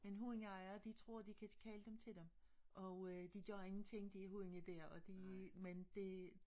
Men hundejere de tror de kan kalde dem til dem og øh de gør ingenting de hunde dér og de men det